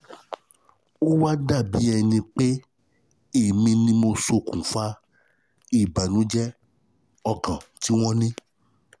Ó wá dàbí ẹni pé èmi ni mo ṣokùnfà ìbànújẹ́ ọkàn tí wọ́n ní